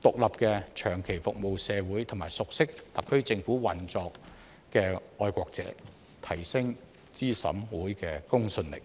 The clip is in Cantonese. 獨立、長期服務社會和熟悉特區政府運作的愛國者，提升資審會的公信力。